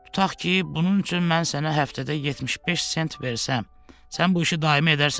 Tutaq ki, bunun üçün mən sənə həftədə 75 sent versəm, sən bu işi daimi edərsənmi?